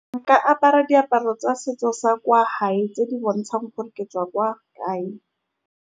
Nka apara diaparo tsa setso sa kwa hae, tse di bontshang gore ke tswa kwa kae.